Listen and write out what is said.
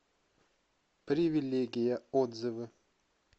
привилегия отзывы